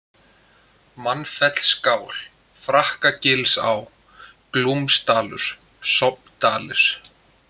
Mannfellsskál, Frakkagilsá, Glúmsdalur, Sofndalir